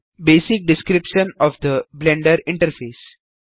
basic description of the Blender interface